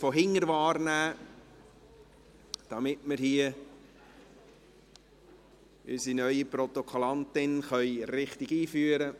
So können wir unsere neue Protokollführerin richtig einführen.